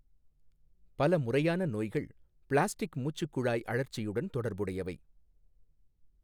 பல முறையான நோய்கள் பிளாஸ்டிக் மூச்சுக்குழாய் அழற்சியுடன் தொடர்புடையவை.